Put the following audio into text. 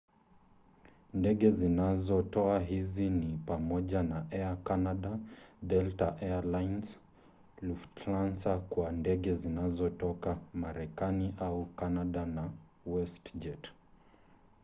ndege zinazotoa hizi ni pamoja na air canada delta air lines lufthansa kwa ndege zinazotoka marekani au kanada na westjet